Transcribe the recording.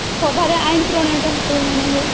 ସଭାରେ ଆଇନ ପ୍ରଣୟ ପ୍ରଣୟନ ହୁଏ